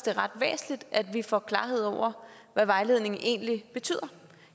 er ret væsentligt at vi får klarhed over hvad vejledningen egentlig betyder